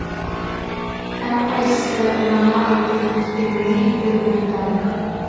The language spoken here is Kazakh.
әрқайсысы жаңа айтып өткенімдей бір бір тарих